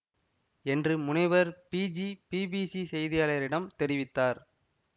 என்று முனைவர் பீஜி பிபிசி செய்தியாளரிடம் தெரிவித்தார்